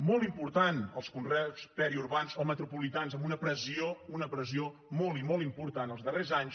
molt important els conreus periurbans o metropolitans amb una pressió molt i molt important els darrers anys